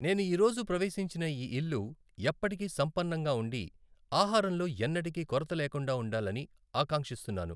నేను ఈ రోజు ప్రవేశించిన ఈ ఇల్లు ఎప్పటికీ సంపన్నంగా ఉండి, ఆహారంలో ఎన్నటికీ కొరత లేకుండా ఉండాలని ఆకాంక్షిస్తున్నాను.